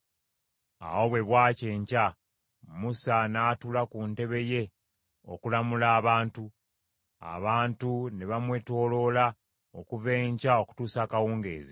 Awo bwe bwakya enkya, Musa n’atuula ku ntebe ye okulamula abantu. Abantu ne bamwetooloola okuva enkya okutuusa akawungeezi.